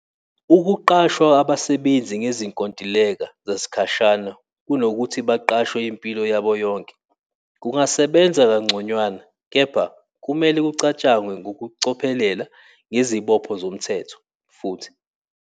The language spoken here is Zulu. Ukuqasha abasebenzi ngezinkontileka zasikhashana kunokuthi baqashwe impilo yabo yonke. Kungasebenza kangconywana, kepha kumele kucatshangwe ngokucophelela ngezibopho zomthetho, futhi.